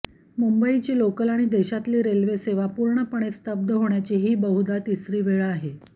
मुंबईची लोकल आणि देशातली रेल्वेसेवा पूर्णपणे स्तब्ध होण्याची ही बहुधा तिसरी वेळ आहे